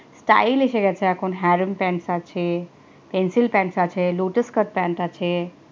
style এসে গেছে এখন harem pants আছে pencil pants আছে, lotus cuts pants আছে